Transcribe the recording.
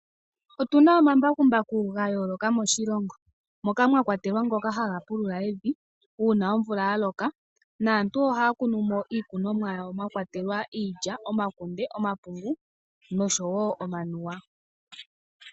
Otu na ombakumbaku ga yooloka moshilongo moka mwa kwatelwa ngoka haga pulula evi, uuna omvula ya loka naantu ohaya kunu mo iikunumwa yawo mwa kwatelwa iilya, omakunde nosho wo omanuwa.